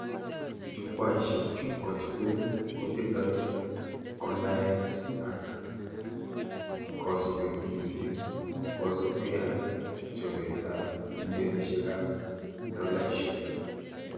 Jukwaishek chu kotugul kotindoi konaet ak kosubet mising kosubke ak chobetab millonishekab dolaishek